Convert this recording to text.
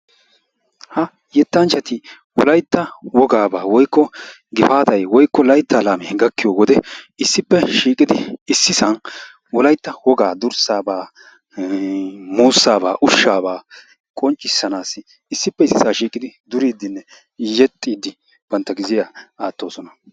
Ha yetanchchati wolaytta wogaabaa woykko gifaataa woykko wolaytta woga laamee gakkiyo wode issippe shiiqidi issisan dursaaba, muusaaba, ushshaaba qonccissanawu duriiddinne yexiidi banta gizziya aatoosona.